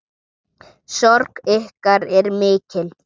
Sorg ykkar er mikil.